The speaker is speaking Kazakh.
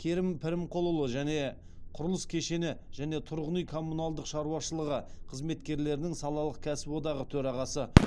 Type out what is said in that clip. керім пірімқұлұлы және құрылыс кешені және тұрғын үй коммуналдық шаруашылығы қызметкерлерінің салалық кәсіподағы төрағасы